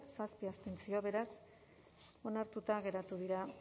zazpi abstentzio beraz onartuta geratu dira